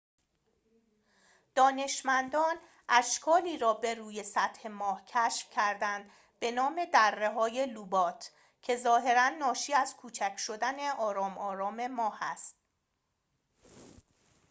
دانشمندان اشکالی را بروی سطح ماه کشف کردند به نام دره‌های لوبات که ظاهراً ناشی از کوچک شدن آرام آرام ماه است